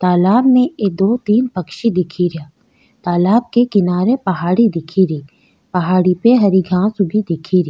तालाब में एक दो तीन पक्षी दिख रा तालाब के किनारे पहाड़ी दिखेरी पहाड़ी पे हरी घांस उगी दिखेरी।